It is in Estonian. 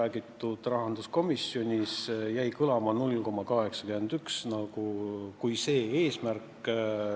Eesti teadus- ja arendustegevuse ning innovatsiooni strateegia eesmärk on suurendada teadus- ja arendustegevuse riigipoolne rahastamine 1%-ni SKT-st aastaks 2020.